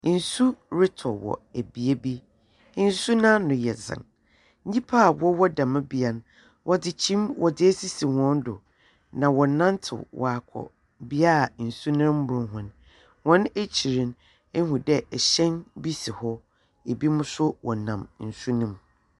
Nsu rotɔ wɔ bea bi. Nsu no ano yɛ dzen nyimpa a wɔwɔ dɛm bea no, wɔdze kyim esisi hɔn do, na wɔrenantew waakɔ bea a nsu no mbor hɔn. Hɔn ekyir no, ihu dɛ hyɛn bi si hɔ. Binom nso wɔnam nsu no mu.